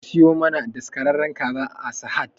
Jeki ki siyo mana daskararren kaza a sahad